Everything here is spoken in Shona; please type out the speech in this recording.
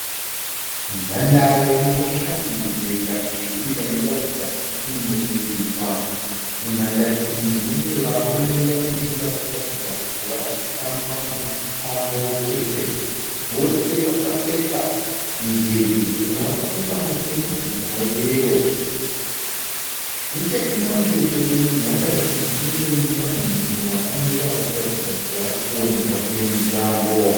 Nhandare ine shanje yakasvibira inoratidza kuti inobhodiridzwa. Mundandare umu mune varume vaviri vari kuratidza kuti vari kutamba mutambo wekiriketi. Vose vakapfeka midhebhe umwe wakapfeka mutema, mumwe weyero. Nechekumucheto kwenhandare iyi kune munhu wakamira ari kuratidza kuti ari kuona zvake mutambo.